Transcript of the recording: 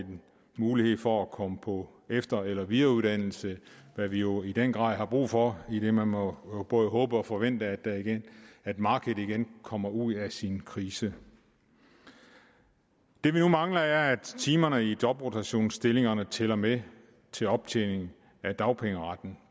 mulighed for at komme på efter eller videreuddannelse hvad vi jo i den grad har brug for idet man må både håbe og forvente at markedet igen kommer ud af sin krise det vi nu mangler er at timerne i jobrotationsstillingerne tæller med til optjening af dagpengeretten